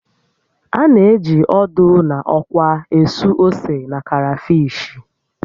A na-eji ódú na ókwá ésú ósè na karafishi